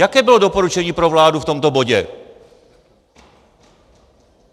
Jaké bylo doporučení pro vládu v tomto bodě?